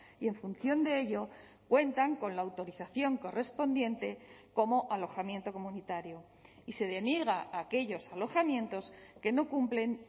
y en función de ello cuentan con la autorización correspondiente como alojamiento comunitario y se deniega a aquellos alojamientos que no cumplen